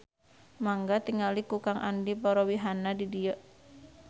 Mangga tingali ku Kang Andi parobihanna di dieu